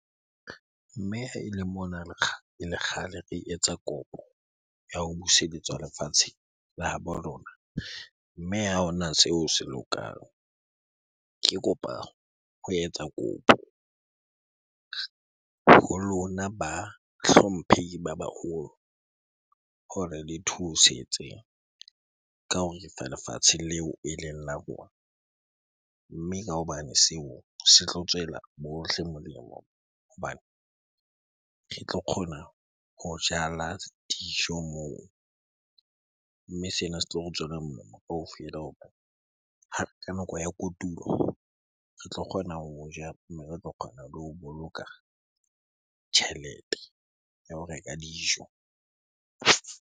Mme ha ele mona ele kgale re etsa kopo ya ho buseletswa lefatshe la habo lona, mme ha hona seo se lokang. Ke kopa ho etsa kopo ng ho lona ba hlomphehi ba baholo hore le thusetse ka ho refa lefatshe leo eleng la rona. Mme ka hobane seo se tlo tswela bohle molemo hobane re tlo kgona ho jala dijo moo. Mme sena se tlo re tswela molemo kaofela hobane ka nako ya kotulo, re tlo kgona ho jala mme re tlo kgona le ho boloka tjhelete ya ho reka dijo.